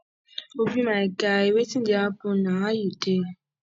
obi my guy wetin dey happen na how you dey